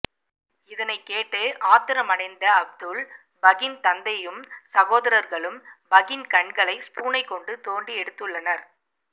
இதனை கேட்டு ஆத்திரமடைந்த அப்துல் பகின் தந்தையும் சகோதரர்களும் பகின் கண்களை ஸ்பூனை கொண்டு தோண்டி எடுத்துள்ளனர்